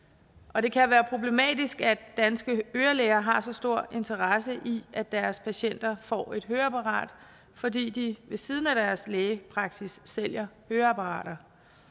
og det kan være problematisk at danske ørelæger har så stor interesse i at deres patienter får et høreapparat fordi de ved siden af deres lægepraksis sælger høreapparater